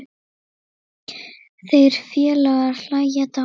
Þeir félagar hlæja dátt.